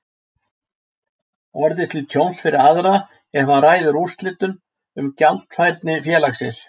orðið til tjóns fyrir aðra ef hann ræður úrslitum um gjaldfærni félagsins.